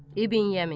İbn Yəmin.